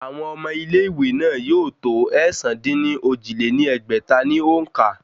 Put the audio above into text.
Àwọn ọmọ ilé ìwé náà yóò tó ẹ̀sán-dín-ní-ojì lé ní ẹgbẹ́ta ní òǹkà